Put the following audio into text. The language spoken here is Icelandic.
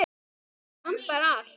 Mig vantar allt.